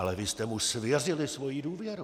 Ale vy jste mu svěřili svoji důvěru!